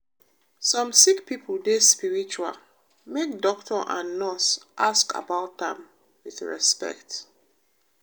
some sick pipo dey spiritual make doctor and nurse ask about am wit respect.